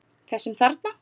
Þessum þarna!